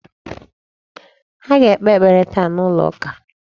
Ha ga-ekpe ekpere taa n'ụlọ ụka..